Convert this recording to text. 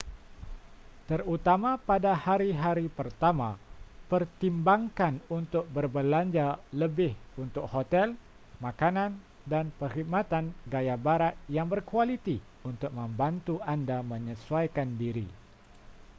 terutama pada hari-hari pertama pertimbangkan untuk berbelanja lebih untuk hotel makanan dan perkhidmatan gaya barat yang berkualiti untuk membantu anda menyesuaikan diri